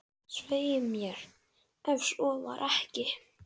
Svei mér, ef svo var ekki.